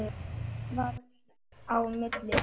Skammt varð á milli þeirra.